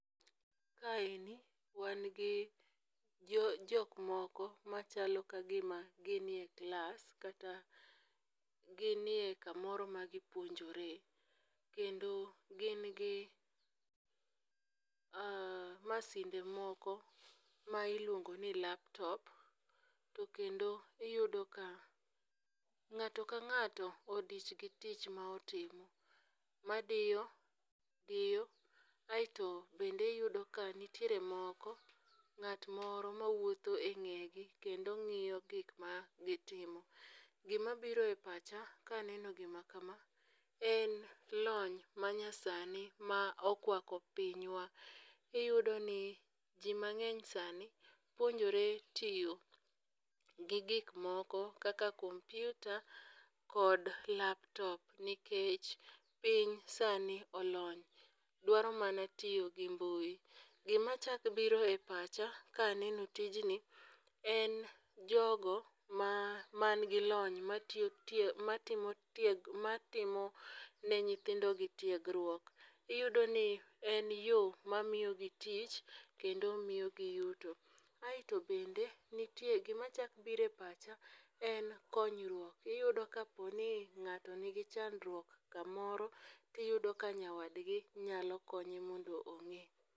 Kaendi wan gi jokmoko machalo ka gima gin e klas kata gin e kamoro ma gipuonjore kendo gin gi masinde moko ma iluongo ni laptop to kendo iyudo ka ng'ato ka ng'ato odich gi tich ma otimo. Madiyo diyo, aeto bende iyudo ka nitiere moko , ng'at moro mawuotho e ng'egi kendo ng'iyo gik ma gitimo. Gimabiro e pacha kaneno gima kama en lony manyasani ma okwako pinywa, iyudo ni ji mang'eny sani puonjore tiyo gi gikmoko kaka kompyuta kod laptop nikech piny sani olony dwaro mana tiyo gi mbui. Gimachako biro e pacha kaneno tijni en jogo ma nigi lony matimo ne nyithindogi tiegruok. Iyudo ni en yo mamiyogi tich kendo miyogi yuto. aeto bende nitie, gimachako biro e pacha en konyruok, iyudo kaponi ng'ato nigi chandruok kamoro, tiyudo ka nyawadgi nyalo konye mondo ong'e.